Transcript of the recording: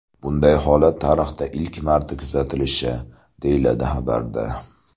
Bunday holat tarixda ilk marta kuzatilishi, deyiladi xabarda.